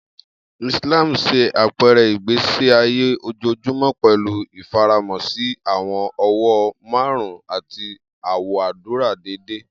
Islam ṣe apẹrẹ igbesi aye ojoojumọ, pẹlu ifaramo si awọn ọwọn marun ati awọn adura deede.